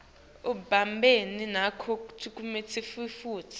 ibumbene nalokucuketfwe futsi